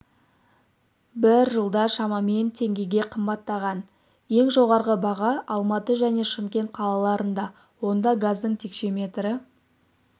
бір жылда шамамен теңгеге қымбаттаған ең жоғарғы баға алматы және шымкент қалаларында онда газдың текшеметрі